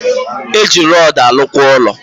Eji rodu alu kwa ulo